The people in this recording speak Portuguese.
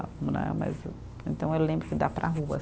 Né, mas. Então eu lembro que dá para a rua.